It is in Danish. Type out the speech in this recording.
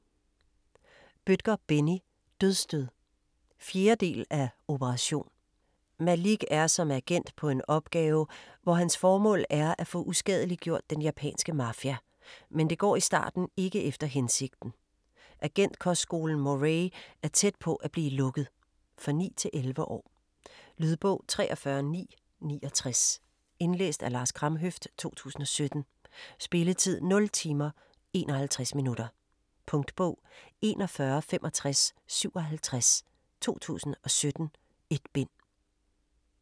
Bødker, Benni: Dødsstød 4. del af Operation. Malik er som agent på en opgave, hvor hans formål er at få uskadeliggjort den japanske mafia. Men det går i starten ikke efter hensigten. Agentkostskolen Moray er tæt på at blive lukket. For 9-11 år. Lydbog 43969 Indlæst af Lars Kramhøft, 2017. Spilletid: 0 timer, 51 minutter. Punktbog 416557 2017. 1 bind.